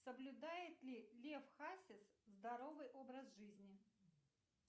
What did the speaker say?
соблюдает ли лев хасис здоровый образ жизни